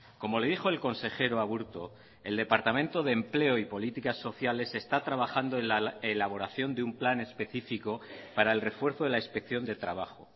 como le dijo el consejero aburto el departamento de empleo y políticas sociales está trabajando en la elaboración de un plan específico para el refuerzo de la inspección de trabajo